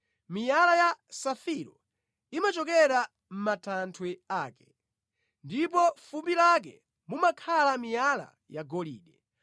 miyala ya safiro imachokera mʼmatanthwe ake, ndipo mʼfumbi lake mumakhala miyala yagolide.